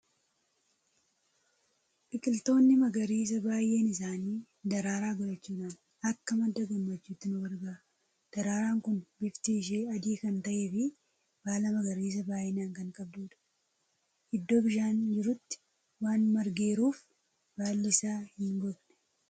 Biqiltoonni magariisaa baay'een isaanii daraaraa godhachuudhaan akka madda gammachuutti nu gargaaru. Daraaraan kun bifti ishee adii kan ta'ee fi baala magariisaa baay'inaan kan qabdudha. Iddoo bishaan jirutti waan margeeruuf baalli isaa hin gogne.